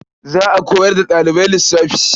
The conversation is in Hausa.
Za a koyar da ɗalibai lissafi.